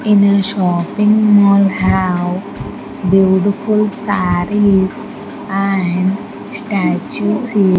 in a shopping mall have beautiful sarees and statu's he --